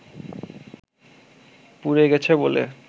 পুড়ে গেছে বলে